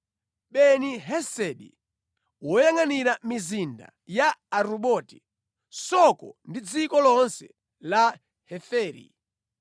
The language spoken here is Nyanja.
Beni-Hesedi, woyangʼanira mizinda ya Aruboti (Soko ndi dziko lonse la Heferi);